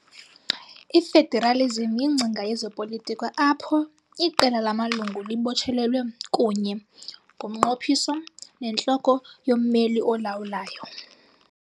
I-Federalism yingcinga yezopolitiko apho "iqela" lamalungu libotshelelwe kunye ngomnqophiso nentloko yommeli olawulayo.